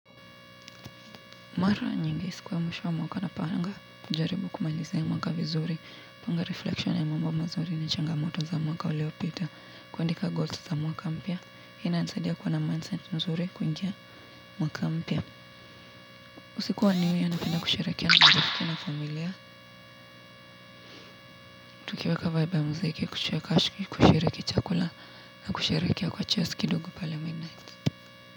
Mara nyingi siku ya mwisho wa mwaka napanga, kujaribu kumalizia mwaka vizuri, kupanga reflection ya mambo mazuri na changamoto za mwaka uliopita, kuandika goals za mwaka mpya. Hii inanisadia kuwa na mindset mzuri kuingia mwaka mpya. Usiku wa new year napenda kusherehekea na marafiki na familia, tukiweka vaibu ya muziki, kucheka, kushiriki chakula na kusherehekea kwa cheers kidogo pale midnight.